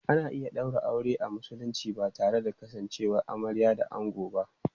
Ana iya ɗaura aure a Musulunci ba tare da kasancewar amarya da ango ba.